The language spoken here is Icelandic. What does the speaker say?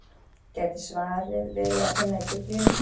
Gæti svarið verið að finna í Biblíunni?